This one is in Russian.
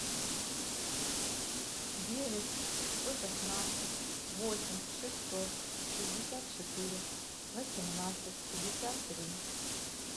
девять сто шестнадцать восемь шестьсот шестьдесят четыре восемнадцать пятьдесят три